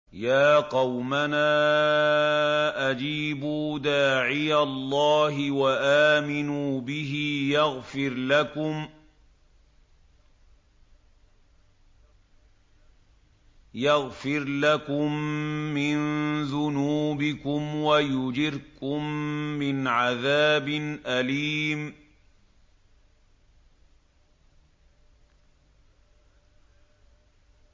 يَا قَوْمَنَا أَجِيبُوا دَاعِيَ اللَّهِ وَآمِنُوا بِهِ يَغْفِرْ لَكُم مِّن ذُنُوبِكُمْ وَيُجِرْكُم مِّنْ عَذَابٍ أَلِيمٍ